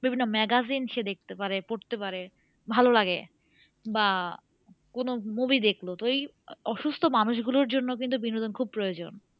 বিভিন্ন magazine সে দেখতে পারে পড়তে পারে ভালোলাগে বা কোন movie দেখলো তো এই আহ অসুস্থ মানুষ গুলোর জন্য কিন্তু বিনোদন খুব প্রয়োজন